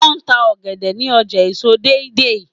wón tá ògèdè ní ọjà èso Deidei.